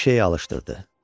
Hər şeyi alışdırdı.